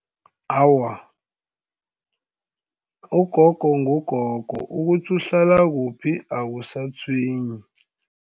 Awa, ugogo ngugogo ukuthi uhlala kuphi akusatshwenyi.